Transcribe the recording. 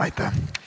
Aitäh!